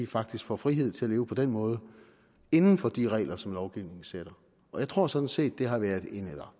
faktisk får frihed til at leve på den måde inden for de regler som lovgivningen sætter jeg tror sådan set det har været eller